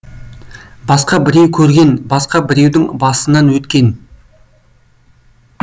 басқа біреу көрген басқа біреудің басынан өткен